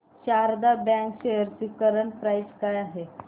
Sharda bank shares ची current price काय आहे